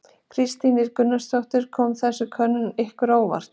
Kristín Ýr Gunnarsdóttir: Kom þessi könnun ykkur á óvart?